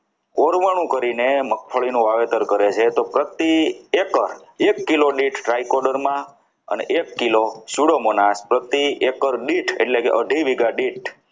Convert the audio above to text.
પુરવાનું કરીને મગફળીનું વાવેતર કરે છે તો પ્રતિ એકર એક કિલો દીઠ strike order માં અને એક કિલો ના પ્રતિ એકાદ દીઠ એટલે કે